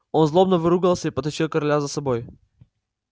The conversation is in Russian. он злобно выругался и потащил короля за собой